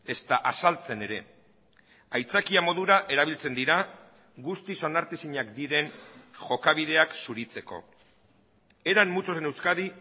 ezta azaltzen ere aitzakia modura erabiltzen dira guztiz onartezinak diren jokabideak zuritzeko eran muchos en euskadi